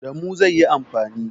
Da mu zai yi amfani.